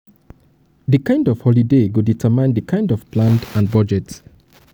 the kind of holiday go determine di kind of plan and budget